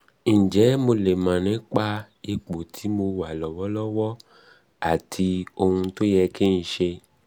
ǹjẹ́ mo lè mọ ipò tí mo mo wà lọ́wọ́lọ́wọ́ àti ohun tó yẹ kí n ṣe?